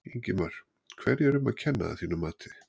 Ingimar: Hverju er um að kenna að þínu mati?